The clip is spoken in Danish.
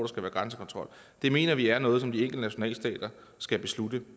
skal være grænsekontrol det mener vi er noget som de enkelte nationalstater skal beslutte